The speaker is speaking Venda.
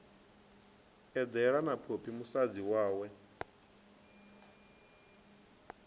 eḓela na phophi musadzi wawe